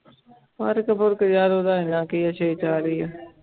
ਫ਼ਰਕ ਫ਼ੁਰਕ ਯਾਰ ਉਹਦਾ ਇੰਨਾ ਕੀ ਹੈ ਹੀ ਹੈ।